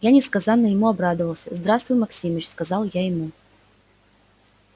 я несказанно ему обрадовался здравствуй максимыч сказал я ему